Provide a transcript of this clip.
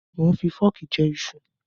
Mò ń fi fọ́ọ̀kì jẹ iṣu.